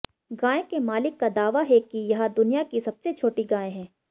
गाय के मालिक का दावा है कि यह दुनिया की सबसे छोटी गाय है